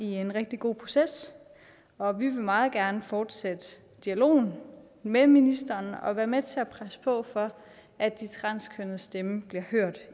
i en rigtig god proces og vi vil meget gerne fortsætte dialogen med ministeren og være med til at presse på for at de transkønnedes stemme bliver hørt